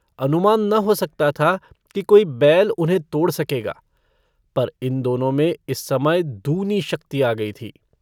अनुमान न हो सकता था कि कोई बैल उन्हें तोड़ सकेगा पर इन दोनों में इस समय दूनी शक्ति आ गई थी।